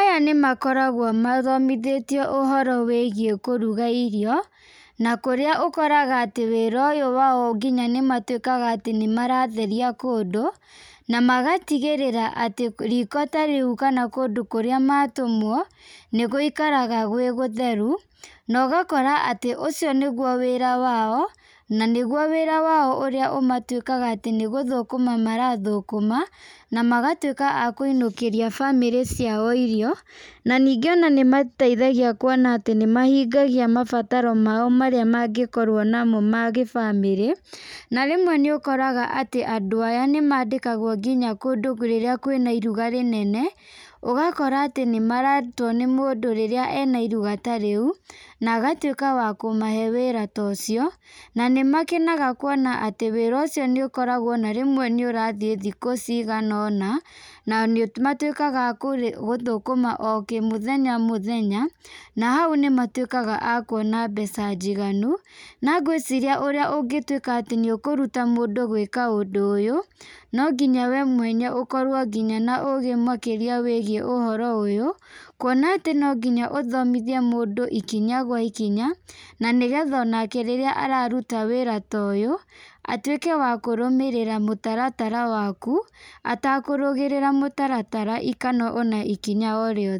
Aya nĩmakoragwo mathomithĩtio ũhoro wĩgiĩ kũruga irio, na kũrĩa ũkoraga atĩ nginya wĩra ũyũ wao, nĩmatwĩkaga nĩmaratheria kũndũ , na magatigĩrĩria atĩ riko ta rĩu kana kũndũ ta kũrĩa matũmwo, nĩgũikaraga gwĩ gũtheru, na ũgakora atĩ ũcio nĩgwo wĩra wao, na nĩgwo wĩra wao urĩa ũtwĩkaga atĩ nĩgũthũkũma marathũkũma , na magwatwĩka akũinũkĩria bamĩrĩ ciao irio, na ningĩ ona mateithagia kuona atĩ nĩmahingia mabataro mao marĩa mangĩkorwo namo ma gĩbamĩrĩ, na rĩmwe nĩ ũkoraga atĩ andũ aya nĩmandĩkagwo nginya kũndũ rĩrĩa kwĩna iruga rĩnene, ũgakora atĩ nĩmaretwo nĩ mũndũ rĩrĩa ena iruga ta rĩu, agatwĩka wa kũmahe wĩra ta ũcio, na nĩ makenaga kuona atĩ wĩra ũcio nĩ ũkoragwo ona rĩmwe nĩ ũrathiĩ thikũ cigana ona, na nĩ matwĩkaga akũthũkũma o mũthenya o mũthenya, na hau nĩmatwĩkaga akuona mbeca njiganu, na ngwĩciria ũrĩa ũngĩtwĩka nĩ ũkũruta mũndũ gwĩka ũndũ ũyũ, no nginya we mwenye ũkorwo nginya na ũgĩ makĩria wĩgiĩ ũhoro ũyũ , kuona atĩ no nginya ũthomithie mũndũ ikinya gwa ikinya , na nĩgetha onake rĩrĩa araruta wĩra ta ũyũ , atwĩke wa kũrũmĩrĩra mũtaratara waku atakũrũgĩrĩra mũtaratara kana ona ikinya o rĩothe.